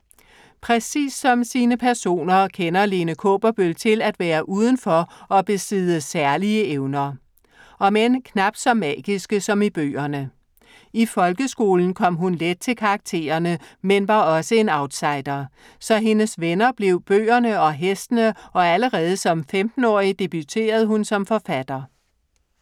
Præcis som sine personer kender Lene Kaaberbøl til at være udenfor og besidde særlige evner. Omend knapt så magiske som i bøgerne. I folkeskolen kom hun let til karaktererne, men var også en outsider. Så hendes venner blev bøgerne og hestene og allerede som 15-årig debuterede hun som forfatter.